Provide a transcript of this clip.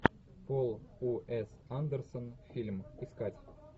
пол у с андерсон фильм искать